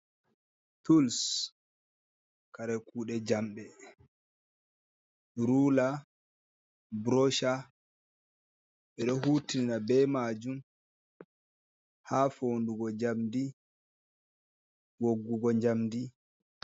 Tuls, kare kuɗe jamɗe. Rula burosha. Ɓe ɗo hutina ɓe majum, ha fonɗugo jamɗi woggugo jamɗi.